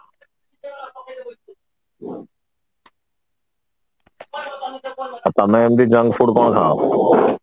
ଆଉ ତମେ ଏମିତି junk food କଣ ଖାଅ